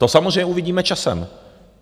To samozřejmě uvidíme časem.